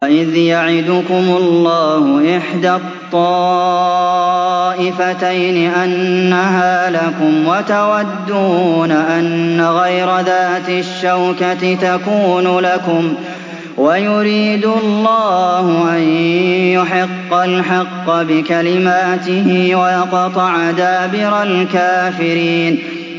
وَإِذْ يَعِدُكُمُ اللَّهُ إِحْدَى الطَّائِفَتَيْنِ أَنَّهَا لَكُمْ وَتَوَدُّونَ أَنَّ غَيْرَ ذَاتِ الشَّوْكَةِ تَكُونُ لَكُمْ وَيُرِيدُ اللَّهُ أَن يُحِقَّ الْحَقَّ بِكَلِمَاتِهِ وَيَقْطَعَ دَابِرَ الْكَافِرِينَ